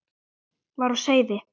var á seyði.